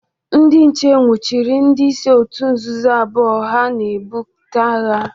Ndị nche nwuchiri ndị isi otu nzọzọ abụọ ahụ na-eburịta agha.